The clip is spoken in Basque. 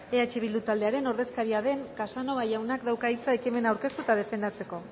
eh bildu taldearen ordezkaria den casanova jaunak dauka hitza ekimena aurkeztu eta defendatzeko